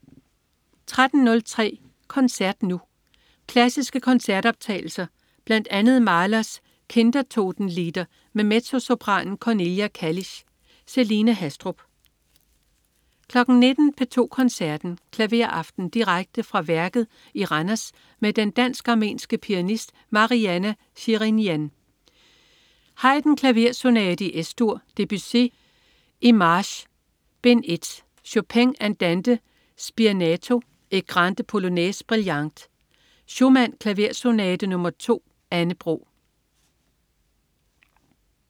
13.03 Koncert Nu. Klassiske koncertoptagelser. Bl.a. Mahlers Kindertotenlieder med mezzosopranen Cornelia Kallisch. Celine Haastrup 19.00 P2 Koncerten. Klaveraften. Direkte fra Værket i Randers med den dansk-armenske pianist Marianna Shirinyan. Haydn: Klaversonate i Es-dur. Debussy: Images, bd. 1. Chopin: Andante spianato et grande polonaise brillante. Schumann: Klaversonate nr. 2. Anne Bro